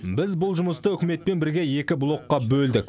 біз бұл жұмысты үкіметпен бірге екі блокқа бөлдік